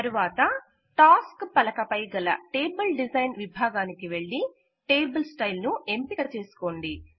తరువాత టాస్క్స్ పలక పై గల టేబుల్ డిజైన్ విభాగానికి వెళ్ళి టేబుల్ స్టైల్ ను ఎంపిక చేసుకోండి